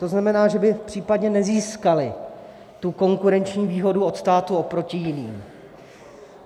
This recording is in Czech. To znamená, že by případně nezískaly tu konkurenční výhodu od státu oproti jiným.